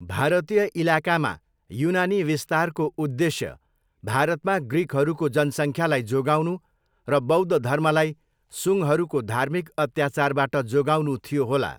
भारतीय इलाकामा युनानी विस्तारको उद्देश्य भारतमा ग्रिकहरूको जनसङ्ख्यालाई जोगाउनु र बौद्ध धर्मलाई सुङ्गहरूको धार्मिक अत्याचारबाट जोगाउनु थियो होला।